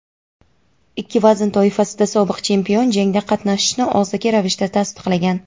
ikki vazn toifasida sobiq chempion jangda qatnashishini og‘zaki ravishda tasdiqlagan.